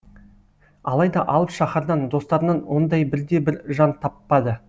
алайда алып шаһардан достарынан ондай бірде бір жан таппады